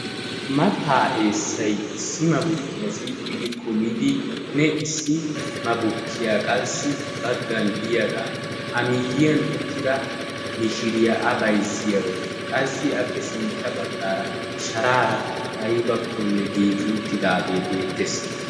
Mattaa eessayi issi mabukkiya silxxi gi kumidi issi mabukkiya qassi baggan diyagaa a miyyiyan uttida mishiriya a bayzziyaro. Qassi appe sintta baggaara sharaara aybakko giigi uttidaagee beettes.